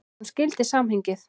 Hún skildi samhengið.